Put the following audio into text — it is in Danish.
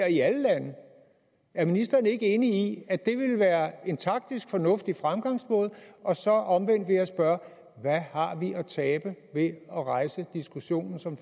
i alle lande er ministeren ikke enig i at det ville være en taktisk fornuftig fremgangsmåde og så omvendt vil jeg spørge hvad har vi at tabe ved at rejse diskussionen som